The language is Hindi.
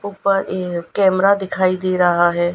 ऊपर ये कैमरा दिखाई दे रहा है।